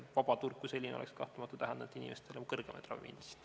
Vabaturg kui selline oleks kahtlemata tähendanud inimestele kõrgemaid ravimihindasid.